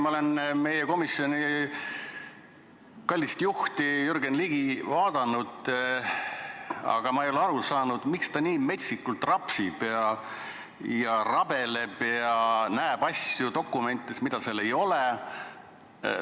Ma olen vaadanud meie komisjoni kallist juhti Jürgen Ligi, aga ei ole aru saanud, miks ta nii metsikult rapsib ja rabeleb ja näeb dokumentides asju, mida seal ei ole.